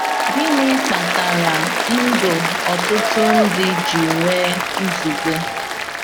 Gịnị kpatara ndụ ọtụtụ ndị ji nwee nzube?